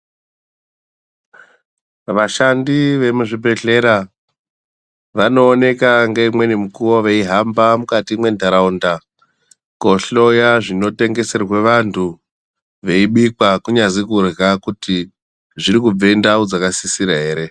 Vashandi vemuzvibhedhlera vanooneka neumweni mukuwo veihamba mundaraunda kohloya zvinotengesetwa vantu veibikwa kunyazi kurya kuti zvirikubve ndau dzakasisira ere.